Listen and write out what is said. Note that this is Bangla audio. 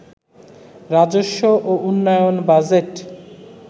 রাজস্ব ও উন্নয়ন বাজেট